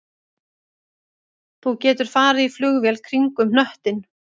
Þú getur farið í flugvél kringum hnöttinn